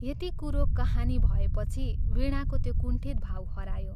यति कुरो कहानी भएपछि वीणाको त्यो कुण्ठित भाव हरायो।